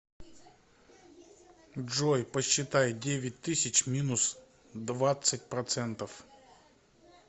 джой посчитай девять тысяч минус двадцать процентов